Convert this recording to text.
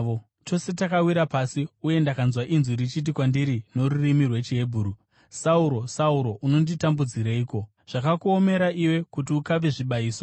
Tose takawira pasi, uye ndakanzwa inzwi richiti kwandiri norurimi rwechiHebheru, ‘Sauro, Sauro, unonditambudzireiko? Zvakakuomera iwe kuti ukave zvibayiso.’